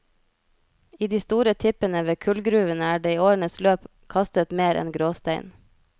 I de store tippene ved kullgruvene er det i årenes løp kastet mer enn gråstein.